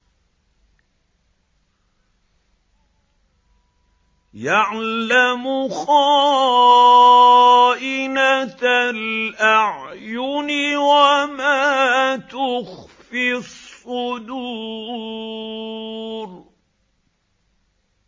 يَعْلَمُ خَائِنَةَ الْأَعْيُنِ وَمَا تُخْفِي الصُّدُورُ